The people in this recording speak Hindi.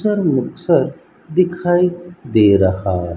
सर मिक्सर दिखाई दे रहा--